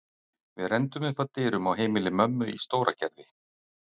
Við renndum upp að dyrum á heimili mömmu í Stóragerði.